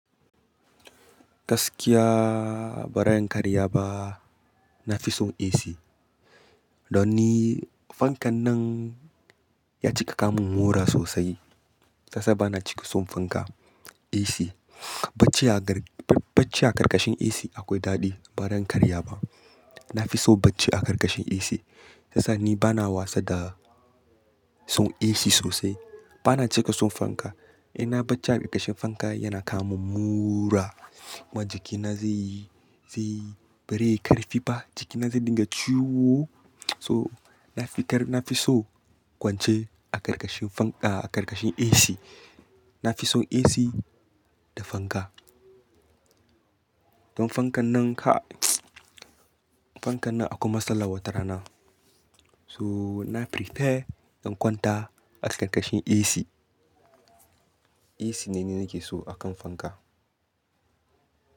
Gaskiya ba ran karya ba. Na fi son AC. Don ni fankan nan ya cika kawomin mura sosai. Sassa bana cika son fanka, AC. Bacci a garg-bacc-bacci a ƙarƙashin AC akwai daɗi. Ba zan karya ba. Na fi so bacci a ƙarƙashin AC. Sassa ni bana wasa da son AC sosai. Bana cika son fanka. In na bacci a ƙarƙashin fanka yana kawomun mura. Kuma jikina zai yi, zai yi, bareyi ƙarfi ba. Jikina zai dinga ciwo. So na fi ƙar-- na fi so kwance a ƙarƙashin fanka-- a ƙarƙashin AC. Na fi son AC da fanka. Don fankan nan ka-- fankan nan akwai matsala wata rana. So na prefer in kwanta a ƙarƙashin AC. AC ne ni nake so a kan fanka.